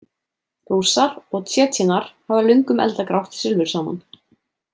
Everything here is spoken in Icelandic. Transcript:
Rússar og Tsjetsjenar hafa löngum eldað grátt silfur saman.